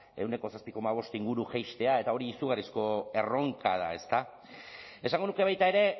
ehuneko zazpi koma bost inguru jaistea eta hori izugarrizko erronka da ezta esango nuke baita ere